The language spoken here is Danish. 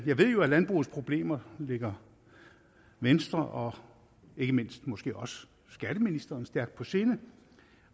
ved jo at landbrugets problemer ligger venstre og ikke mindst måske også skatteministeren stærkt på sinde